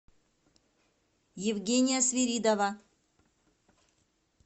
евгения свиридова